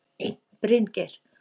Bryngeir